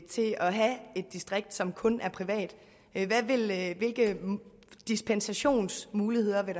have et distrikt som kun er privat hvilke dispensationsmuligheder vil